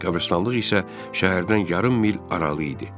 Qəbristanlıq isə şəhərdən yarım mil aralı idi.